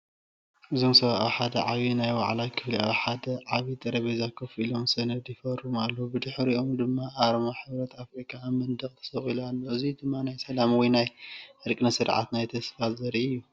እዚ ሰባት ኣብ ሓደ ዓቢይ ናይ ዋዕላ ክፍሊ ኣብ ሓደ ዓቢ ጠረጴዛ ኮፍ ኢሎም ሰነድ ይፈርሙ ኣለዉ። ብድሕሪኦም ድማ ኣርማ ሕብረት ኣፍሪካ ኣብ መንደቕ ተሰቒሎም ኣለዉ። እዚ ድማ ናይ ሰላም ወይ ናይ ዕርቂ ስነ-ስርዓት ናይ ተስፋ ዘርኢእዩ።